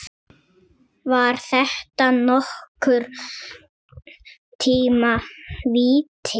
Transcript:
Var þetta nokkurn tíma víti?